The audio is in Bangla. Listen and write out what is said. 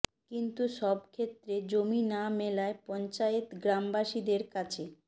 কিন্তু সব ক্ষেত্রে জমি না মেলায় পঞ্চায়েত গ্রামবাসীদের কাছে